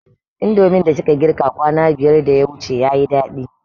Indomin da kika girka kwana biyar da yawuce yayi daɗi